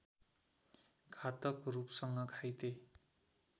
घातक रूपसँग घाइते